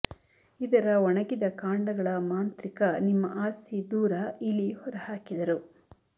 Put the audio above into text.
ಇದರ ಒಣಗಿದ ಕಾಂಡಗಳ ಮಾಂತ್ರಿಕ ನಿಮ್ಮ ಆಸ್ತಿ ದೂರ ಇಲಿ ಹೊರಹಾಕಿದರು